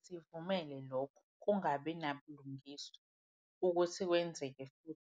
Angeke sivumele lokho kungabi nabulungiswa ukuthi kwenzeke futhi.